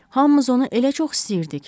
Hamımız onu elə çox istəyirdik.